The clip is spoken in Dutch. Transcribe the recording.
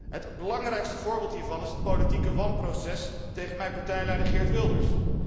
Het belangrijkste voorbeeld hiervan is het politieke wanproces tegen mijn partijleider Geert Wilders.